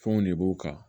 Fɛnw de b'u kan